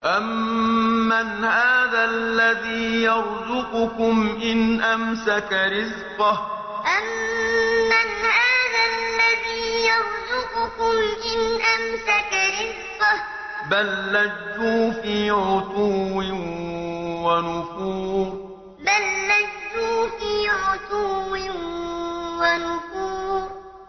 أَمَّنْ هَٰذَا الَّذِي يَرْزُقُكُمْ إِنْ أَمْسَكَ رِزْقَهُ ۚ بَل لَّجُّوا فِي عُتُوٍّ وَنُفُورٍ أَمَّنْ هَٰذَا الَّذِي يَرْزُقُكُمْ إِنْ أَمْسَكَ رِزْقَهُ ۚ بَل لَّجُّوا فِي عُتُوٍّ وَنُفُورٍ